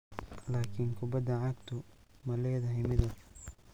"Laakiin kubadda cagtu ma leedahay midab."